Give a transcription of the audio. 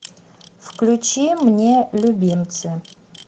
включи мне любимцы